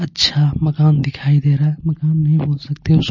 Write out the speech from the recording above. अच्छा मकान दिखाई दे रहा है मकान नहीं बोल सकते.